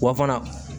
Wa fana